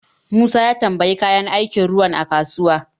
Musa ya tambayi kayan aikin ruwan a kasuwa.